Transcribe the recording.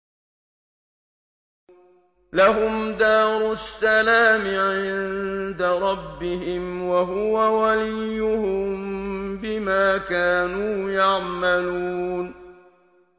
۞ لَهُمْ دَارُ السَّلَامِ عِندَ رَبِّهِمْ ۖ وَهُوَ وَلِيُّهُم بِمَا كَانُوا يَعْمَلُونَ